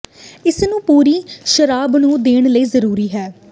ਇਸ ਨੂੰ ਪੂਰੀ ਸ਼ਰਾਬ ਨੂੰ ਦੇਣ ਲਈ ਜ਼ਰੂਰੀ ਹੈ